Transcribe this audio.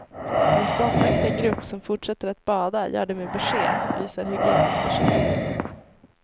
Den ståndaktiga grupp som fortsätter att bada gör det med besked, visar hygienundersökningen.